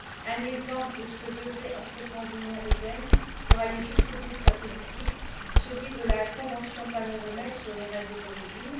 Un exemple de ce que devrait entreprendre l'Union européenne pour aller jusqu'au bout de sa politique est celui de la convention Paneuromed sur les règles d'origine.